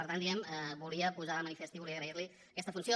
per tant ho volia posar de manifest i volia agrair li aquesta funció